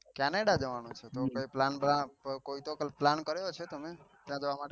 canada જવાનું છે. તો તો કઈ plan કોઈ તો કઈ plan કર્યો હશે. તમે ત્યાં જવા માટે